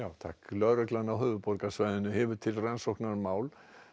lögreglan á höfuðborgarsvæðinu hefur til rannsóknar mál